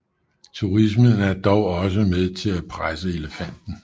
Turismen er dog også med til at presse elefanten